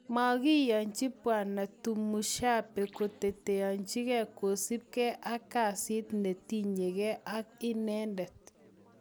Makiyanchi Bwana Tumushabe koteteanchige kosup gee ak kesit netinye ge akinendet